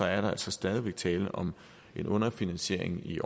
er der altså stadig væk tale om en underfinansiering i